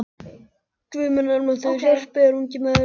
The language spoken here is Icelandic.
Guð minn almáttugur hjálpi þér ungi maður!